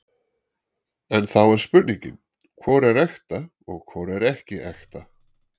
En þá er spurningin, hvor er ekta og hvor er ekki ekta?